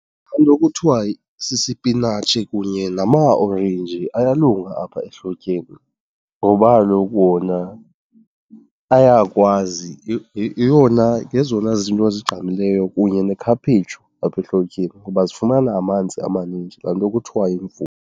Into ekuthiwa sisipinatshi kunye namaorenji ayalunga apha ehlotyeni ngoba kaloku wona ayakwazi, yeyona, ngezona zinto zigqamileyo kunye nekhaphetshu apha ehlotyeni ngoba zifumana amanzi amanintsi, laa nto kuthiwa yimvula.